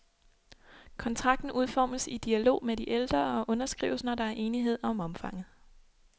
Kontrakten udformes i dialog med de ældre og underskrives, når der er enighed om omfanget.